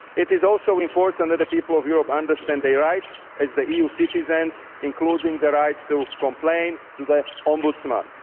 It is also important that the people of Europe understand their rights as EU citizens, including the right to complain to the Ombudsman.